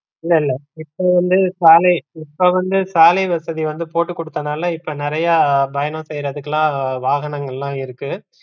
இல்ல இல்ல இப்ப வந்து சாலை இப்ப வந்து சாலை வசதி வந்து போட்டுகுடுத்தனால இப்ப நிறையா பயணம் செய்றதுக்குலாம் வாகனங்களாம் இருக்கு.